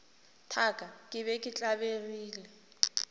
thaka ke be ke tlabegile